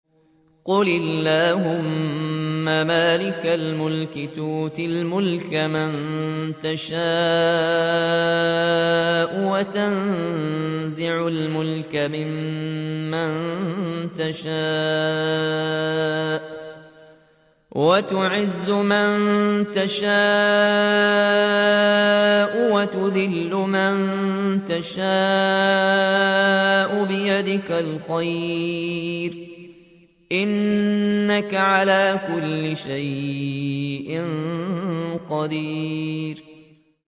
قُلِ اللَّهُمَّ مَالِكَ الْمُلْكِ تُؤْتِي الْمُلْكَ مَن تَشَاءُ وَتَنزِعُ الْمُلْكَ مِمَّن تَشَاءُ وَتُعِزُّ مَن تَشَاءُ وَتُذِلُّ مَن تَشَاءُ ۖ بِيَدِكَ الْخَيْرُ ۖ إِنَّكَ عَلَىٰ كُلِّ شَيْءٍ قَدِيرٌ